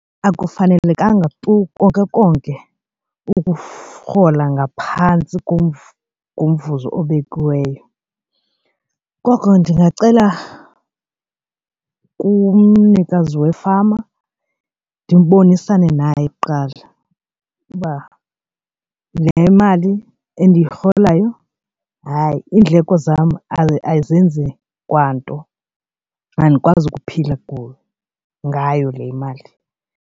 Akufanelekanga tu konke konke ukurhola ngaphantsi kumvuzo obekiweyo. Koko ndingacela kumnikazi wefama ndibonisana naye kuqala uba le mali endiyirholayo hayi iindleko zam ayizenzi kwanto andikwazi ukuphila kulo ngayo le mali.